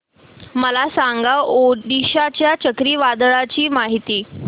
मला सांगा ओडिशा च्या चक्रीवादळाची माहिती